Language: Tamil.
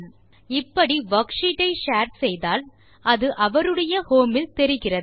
இப்படி வர்க்ஷீட் ஐ ஷேர் செய்தால் அது அவர்களுடைய ஹோம் இல் தெரிகிறது